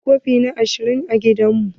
Muna da kofuna ashirin a gidan mu.